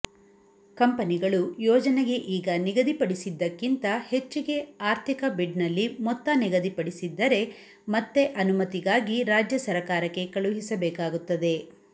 ಕಂಪನಿಗಳು ಯೋಜನೆಗೆ ಈಗ ನಿಗದಿಪಡಿಸಿದ್ದಕ್ಕಿಂತ ಹೆಚ್ಚಿಗೆ ಆರ್ಥಿಕ ಬಿಡ್ನಲ್ಲಿಮೊತ್ತ ನಿಗದಿ ಪಡಿಸಿದ್ದರೆ ಮತ್ತೆ ಅನುಮತಿಗಾಗಿ ರಾಜ್ಯ ಸರಕಾರಕ್ಕೆ ಕಳುಹಿಸಬೇಕಾಗುತ್ತದೆ